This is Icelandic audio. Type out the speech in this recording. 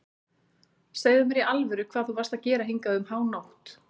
Segðu mér í alvöru hvað þú varst að gera hingað um hánótt.